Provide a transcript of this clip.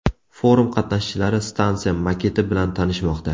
Forum qatnashchilari stansiya maketi bilan tanishmoqda.